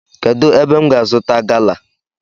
Kedu ébé m ga azuta gala?